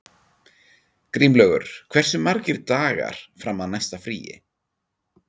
Grímlaugur, hversu margir dagar fram að næsta fríi?